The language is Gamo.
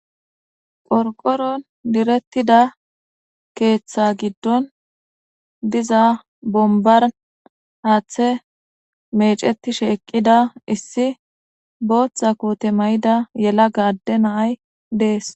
Qorqoron direttida keeththa giddon diza bombar haaththe mecetishe eqqida issi booththa kute may'ida yela gaadde naay dees